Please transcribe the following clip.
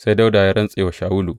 Sai Dawuda ya rantse wa Shawulu.